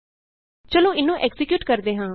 ਚਲੋ ਇਹਨੂੰ ਐਕਜ਼ੀਕਿਯੂਟ ਕਰਦੇ ਹਾਂ